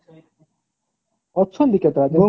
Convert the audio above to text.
ଅଛନ୍ତି କେତେ ଟା